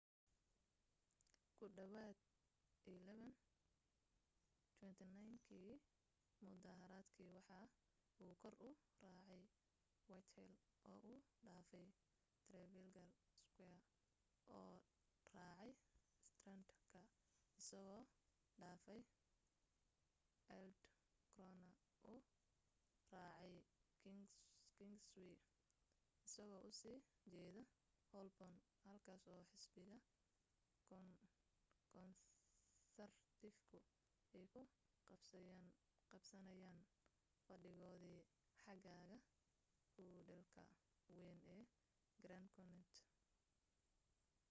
ku dhawaad 11:29 kii mudaharaadkii waxa uu kor u raacay whitehall oo uu dhaafay trafalgar square oo raacay strand ka isagoo dhaafay aldwych korna u raacay kingsway isagoo u sii jeeda holborn halkaas oo xisbiga konsartifku ay ku qabsanayeen fadhigoodii xagaaga hudheelka wayn ee grand connaught